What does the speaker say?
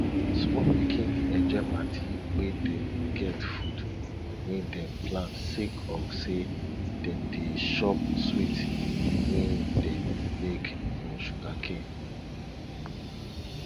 small pikin dey enjoy parti wey dem get food wey dem plant sake of say dem dey chop sweet wey dem make from sugarcane